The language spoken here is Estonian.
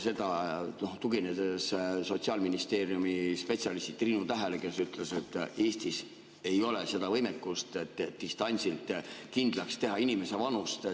Seda olen teinud, tuginedes Sotsiaalministeeriumi spetsialistile Triinu Tähele, kes on öelnud, et Eestis ei ole seda võimekust, et distantsilt kindlaks teha inimese vanust.